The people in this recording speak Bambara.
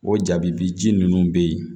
O jaabi ji ninnu bɛ ye